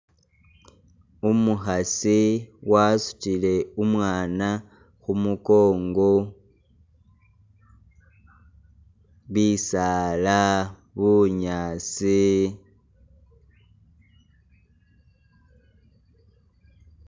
Umukhasi wasutile umwana khumunkongo, bisala, bunyaasi,